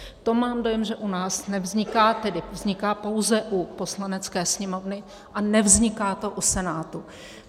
To mám dojem, že u nás nevzniká, tedy vzniká pouze u Poslanecké sněmovny a nevzniká to u Senátu.